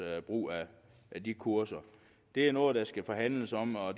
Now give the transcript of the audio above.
brug af de kurser det er noget der skal forhandles om og